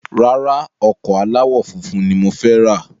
Rárá, ọkọ̀ aláwò funfun ni mo fẹ ra